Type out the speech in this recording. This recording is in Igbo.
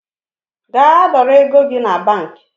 Gaa dọrọ ego gi na banki